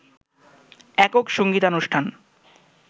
একক সংগীতানুষ্ঠান